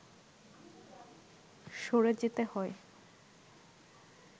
সরে যেতে হয়